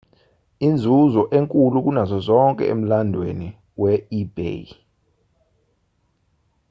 inzuzo enkulu kunazo zonke emlandweni we-ebay